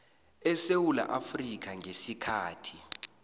esewula afrika ngesikhathi